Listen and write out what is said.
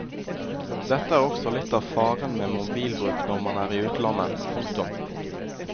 Dette er også litt av faren med mobilbruk når man er i utlandet. punktum